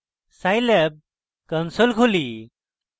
scilab console খুলি